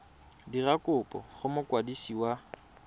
dira kopo go mokwadisi wa